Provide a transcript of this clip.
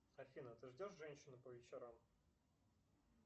афина ты ждешь женщину по вечерам